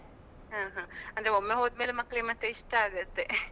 ಹಾ ಹಾ. ಅಂದ್ರೆ ಒಮ್ಮೆ ಹೋದ್ರೆ ಮಕ್ಳಿಗೆ ಮತ್ತೆ ಇಷ್ಟ ಆಗುತ್ತೆ.